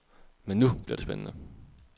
Men nu bliver det spændende.